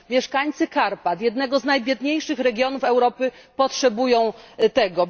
Mieszkańcy Karpat, jednego z najbiedniejszych regionów Europy, potrzebują tego.